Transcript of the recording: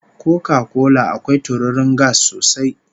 Koka kola akwai tururin gas sosai